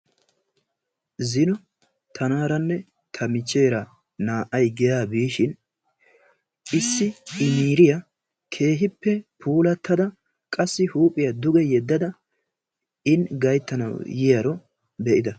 Zino tanaaranne ta michcheera naa"ay giyaa biishin issi qeeriya keehippe puulattada qassi huuphiya duge yeddada in gayittanawu yiyaaro be'ida.